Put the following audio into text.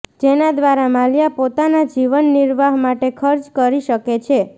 જેના દ્વારા માલ્યા પોતાના જીવનનિર્વાહ માટે ખર્ચ કરી શકે છે